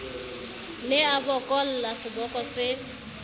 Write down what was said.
ne a bokolla seboko se